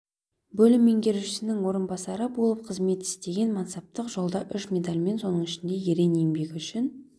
бөлім меңгерушісінің орынбасары болып қызмет істеген мансаптық жолда үш медальмен соның ішінде ерен еңбегі үшін